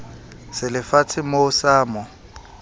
se le fatshemoo sa mo